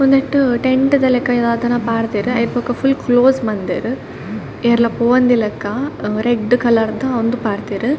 ಉಂದೆಟ್ ಟೆಂಟ್ ದ ಲಕ ದಾದನ ಪಾಡ್ದೆರ್ ಆಯಿರ್ದ್ ಬೊಕ ಫುಲ್ಲ್ ಕ್ಲೋಸ್ ಮಲ್ದೆರ್ ಏರ್ಲ ಪೋವಂದಿಲಕ ಅ ರೆಡ್ಡ್ ಕಲರ್ದ ಉಂದು ಪಾಡ್ದೆರ್.